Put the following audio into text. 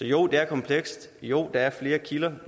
jo det er komplekst jo der er flere kilder